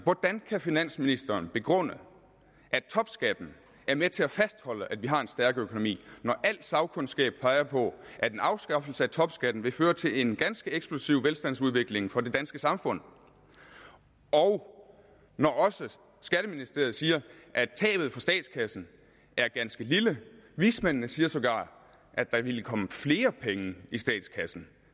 hvordan kan finansministeren begrunde at topskatten er med til at fastholde at vi har en stærk økonomi når al sagkundskab peger på at en afskaffelse af topskatten vil føre til en ganske eksplosiv velstandsudvikling for det danske samfund og når også skatteministeriet siger at tabet for statskassen er ganske lille vismændene siger sågar at der ville komme flere penge i statskassen